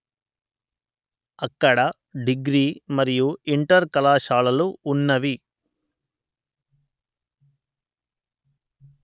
అక్కడ డిగ్రీ మరియు ఇంటర్ కళాశాలలు వున్నవి